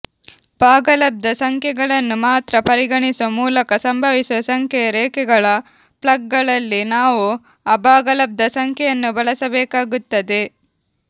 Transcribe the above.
ಭಾಗಲಬ್ಧ ಸಂಖ್ಯೆಗಳನ್ನು ಮಾತ್ರ ಪರಿಗಣಿಸುವ ಮೂಲಕ ಸಂಭವಿಸುವ ಸಂಖ್ಯೆಯ ರೇಖೆಗಳ ಪ್ಲಗ್ಗಳಲ್ಲಿ ನಾವು ಅಭಾಗಲಬ್ಧ ಸಂಖ್ಯೆಯನ್ನು ಬಳಸಬೇಕಾಗುತ್ತದೆ